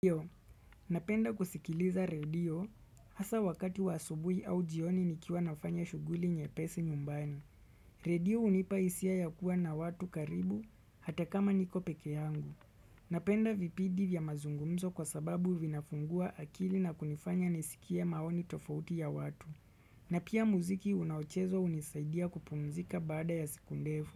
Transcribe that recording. Iyo, napenda kusikiliza radio, hasa wakati wa asubui au jioni nikiwa nafanya shuguli nyepesi nyumbani. Radio hunipa hisia ya kuwa na watu karibu, hata kama niko pekee yangu. Napenda vipidi vya mazungumzo kwa sababu vinafungua akili na kunifanya nisikie maoni tofauti ya watu. Na pia muziki unaochezwa hunisaidia kupumzika baada ya siku ndefu.